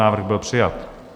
Návrh byl přijat.